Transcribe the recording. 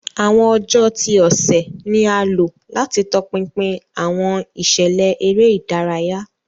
Awọn ọjọ ti ọsẹ ni a lo lati tọpinpin awọn iṣẹlẹ ere idaraya.